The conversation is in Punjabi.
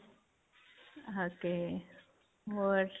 ok. ਹੋਰ?